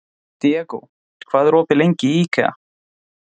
Diego, hvað er opið lengi í IKEA?